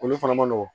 Olu fana ma nɔgɔn